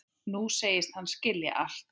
Nú segist hann skilja allt.